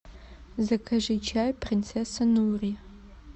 закажи чай принцесса нури